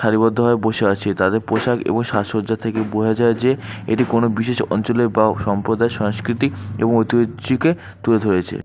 সারিবদ্ধভাবে বসে আছে তাদের পোশাক এবং সাজসজ্জা থেকে বোঝা যায় যে এটি কোনো বিশেষ অঞ্চলের বা সম্প্রদায়ের সাংস্কৃতিক এবং ঐতিহ্যকে তুলে ধরেছে।